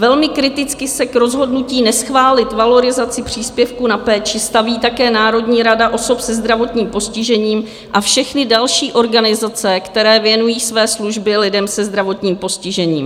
Velmi kriticky se k rozhodnutí neschválit valorizaci příspěvku na péči staví také Národní rada osob se zdravotním postižením a všechny další organizace, které věnují své služby lidem se zdravotním postižením.